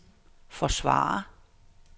forsvare